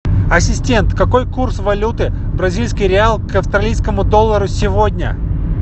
ассистент какой курс валюты бразильский реал к австралийскому доллару сегодня